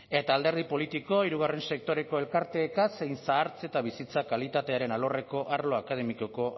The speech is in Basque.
eta alderdi politiko hirugarren sektoreko elkarteekin zein zahartze eta bizitza kalitatearen alorreko arlo akademikoko